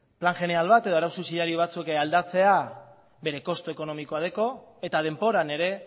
plan jeneral bat edo arau subsidiario batzuk aldatzea bere kostu ekonomikoa dauka eta denboran ere